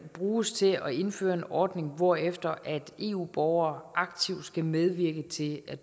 bruges til at indføre en ordning hvorefter eu borgere aktivt skal medvirke til at